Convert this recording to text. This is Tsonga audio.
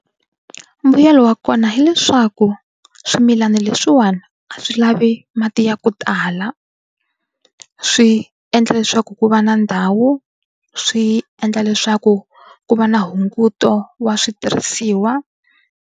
Mbuyelo wa kona hileswaku swimilana leswiwani a swi lavi mati ya ku tala swi endla leswaku ku va na ndhawu swi endla leswaku ku va na hunguto wa switirhisiwa.